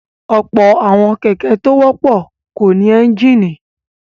Ọ̀pọ̀ àwọn kẹ̀kẹ́ tó wọ́pọ̀ kò ní ẹ́ńjínì.